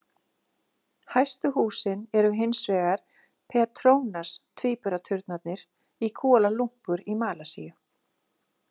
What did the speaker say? Hæstu húsin eru hins vegar Petronas-tvíburaturnarnir í Kuala Lumpur í Malasíu.